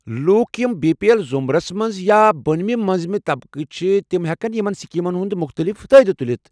لوٗکھ یِم B P L ضُمرس منز ، یا بونِمہِ مٕنزِمہِ طبقٕكہِ چھِ تم ہٮ۪کن یمن سکیمن تحت مختٔلف فٲئدٕ تُلتھ ۔